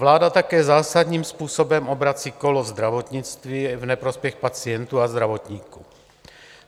Vláda také zásadním způsobem obrací kolo zdravotnictví v neprospěch pacientů a zdravotníků.